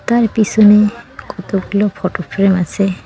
তার পিসনে কতগুলো ফটোফ্রেম আসে।